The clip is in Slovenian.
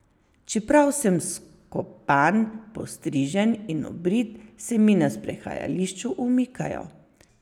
Čeprav sem skopan, postrižen in obrit, se mi na sprehajališču umikajo.